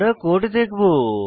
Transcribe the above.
আমরা কোড দেখবো